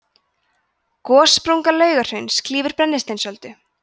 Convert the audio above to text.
gossprunga laugahrauns klýfur brennisteinsöldu